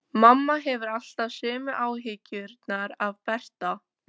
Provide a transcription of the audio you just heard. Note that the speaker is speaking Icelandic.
Mamma hefur alltaf sömu áhyggjurnar af Berta.